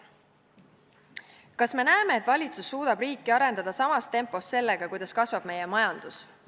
Kas me näeme, et valitsus suudab riiki arendada samas tempos sellega, kuidas kasvab meie majandus?